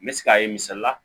N bɛ se k'a ye misali la